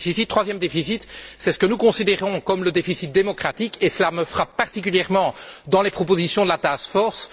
Troisième déficit, c'est ce que nous considérons comme le déficit démocratique et cela me frappe particulièrement dans les propositions de la task force.